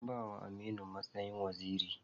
An ba wa Aminu matsayin waziri.